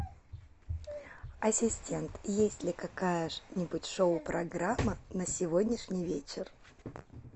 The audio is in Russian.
ассистент есть ли какая нибудь шоу программа на сегодняшний вечер